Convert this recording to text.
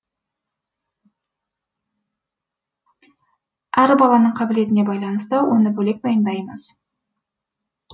әр баланың қабілетіне байланысты оны бөлек дайындаймыз